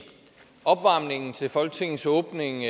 opvarmningen til folketingets åbning